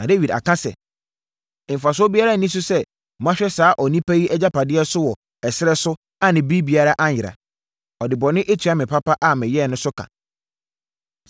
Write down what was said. Na Dawid aka sɛ, “Mfasoɔ biara nni so sɛ mahwɛ saa onipa yi agyapadeɛ so wɔ ɛserɛ so a ne biribiara annyera. Ɔde bɔne atua me papa a meyɛɛ no no so ka.